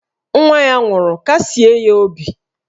Nwa ya nwụrụ, kasie ya obi!